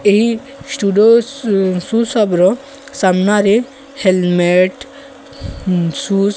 ଏହି ଷ୍ଟୁଡୋସ୍ shoe shop ର ସାମ୍ନାରେ ହେଲମେଟ୍ ଉଁ ସୁଜ୍ --